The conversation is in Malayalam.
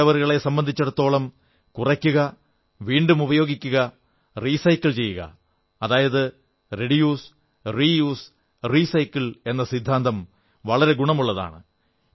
ചപ്പുചവറുകളെ സംബന്ധിച്ചിടത്തോളം കുറയ്ക്കുക വീണ്ടും ഉപയോഗിക്കുക റീസൈക്കിൾ ചെയ്യുക റെഡ്യൂസ് റീയൂസ് റീസൈക്കിൾ എന്ന സിദ്ധാന്തം വളരെ ഗുണമുള്ളതാണ്